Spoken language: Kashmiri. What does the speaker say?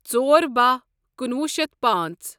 ژۄر بہہَ کنُوہُ شیتھ پانژھ